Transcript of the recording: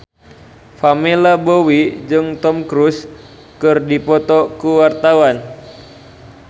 Pamela Bowie jeung Tom Cruise keur dipoto ku wartawan